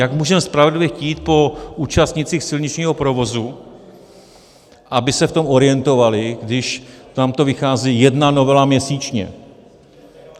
Jak můžeme spravedlivě chtít po účastnících silničního provozu, aby se v tom orientovali, když nám to vychází jedna novela měsíčně?